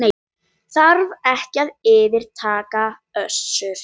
Aðils, hvað er á dagatalinu í dag?